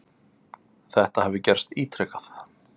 Þetta hafi gerst ítrekað.